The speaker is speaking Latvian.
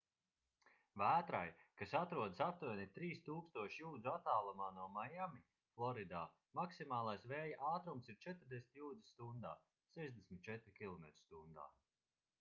vētrai kas atrodas aptuveni 3000 jūdžu attālumā no maiami floridā maksimālais vēja ātrums ir 40 jūdzes stundā 64 km/h